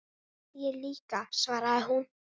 Ég líka, svaraði hún.